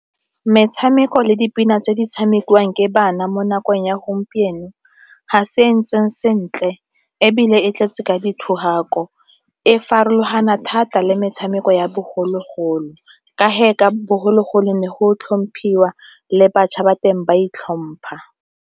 Metshameko le dipina tse di tshamekiwang ke bana mo nakong ya gompieno ga se e ntseng sentle ebile e tletse ka di thogako, e farologana thata le metshameko ya bogologolo ka ge a bogologolo ne go tlhomphiwa le bašwa ba teng ba itlhompha.